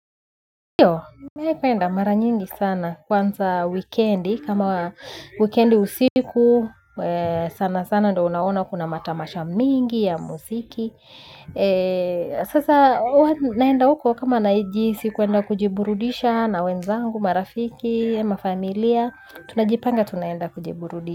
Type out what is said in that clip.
Ndio, mimi penda mara nyingi sana kwanza wekendi kama wekendi usiku sana sana ndo unaona kuna matamasha mingi ya muziki. Sasa naenda huko kama najihisi kwenda kujiburudisha na wenzangu marafiki mafamilia tunajipanga tunaenda kujiburudisha.